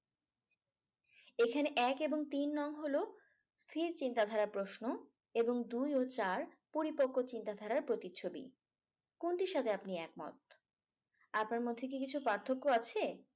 এখানে এক এবং তিন নং হল স্থির চিন্তাধারার প্রশ্ন? এবং দুই ও চার পরিপক্ক চিন্তাধারার প্রতিচ্ছবি। কোনটির সাথে আপনি একমত। আপনার মধ্যে কি কিছু পার্থক্য আছে?